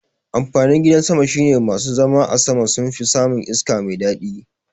Amfanin gidan sama shine masu zama a sama sunfi samun iska mai daɗi